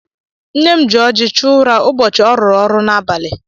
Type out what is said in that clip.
Nne m ji ọjị chụọ ụra ụbọchị ọ rụrụ ọrụ n'abalị.